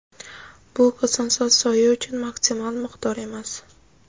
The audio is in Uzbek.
Bu Kosonsoy soyi uchun maksimal miqdor emas.